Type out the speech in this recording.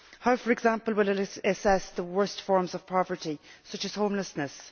How, for example, will it assess the worst forms of poverty, such as homelessness?